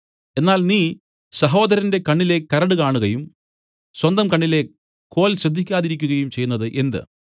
എന്നാൽ നീ സഹോദരന്റെ കണ്ണിലെ കരട് കാണുകയും സ്വന്തകണ്ണിലെ കോൽ ശ്രദ്ധിക്കാതിരിക്കുകയും ചെയ്യുന്നതു എന്ത്